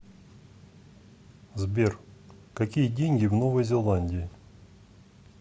сбер какие деньги в новой зеландии